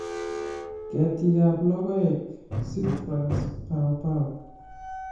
ketikab logoek-citrus, pawpaw